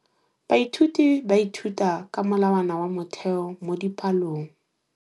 Baithuti ba ithuta ka molawana wa motheo mo dipalong.